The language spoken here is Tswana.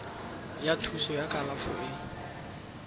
ya thuso ya kalafo e